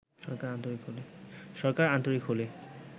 সরকার আন্তরিক হলে